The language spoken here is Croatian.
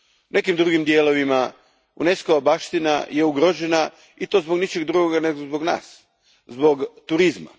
nekim drugim dijelovima, UNESCO va baština je ugrožena i to zbog ničeg drugog, nego zbog nas, zbog turizma.